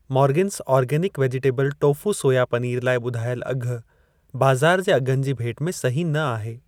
मोर्गिंस organic vegetable tofu soya paneer लाइ ॿुधायल अघि बाज़ार जे अघनि जी भेट में सही न आहे।